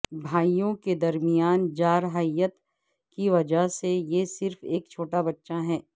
بھائیوں کے درمیان جارحیت کی وجہ سے یہ صرف ایک چھوٹا بچہ ہے